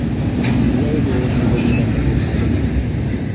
kiiyai kou nie konyil ata komakinamin?